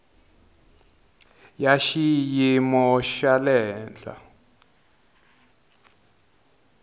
ya xiyimo xa le henhla